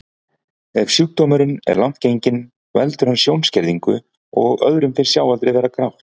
Ef sjúkdómurinn er langt genginn veldur hann sjónskerðingu og öðrum finnst sjáaldrið vera grátt.